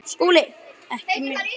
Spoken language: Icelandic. SKÚLI: Ekki mjög.